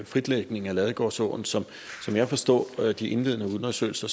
fritlægning af ladegårdsåen som jeg forstår de indledende undersøgelser